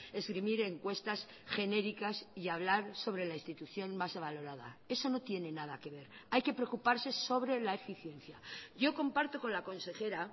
esgrimir encuestas genéricas y hablar sobre la institución más valorada eso no tiene nada que ver hay que preocuparse sobre la eficiencia yo comparto con la consejera